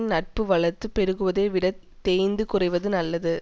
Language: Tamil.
நட்பு வளர்ந்து பெருகுவதை விட தேய்ந்து குறைவது நல்லது